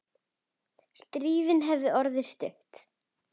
Stríðið hefði orðið stutt.